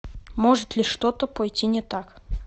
может ли что то пойти не так